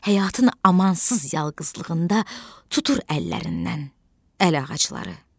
Həyatın amansız yalqızlığında tutur əllərindən əlağacları.